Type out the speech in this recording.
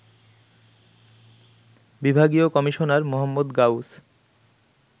বিভাগীয় কমিশনার মো. গাউস